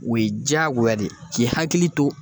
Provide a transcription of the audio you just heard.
O ye jagoya de ye k'i hakili to